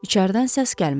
İçəridən səs gəlmədi.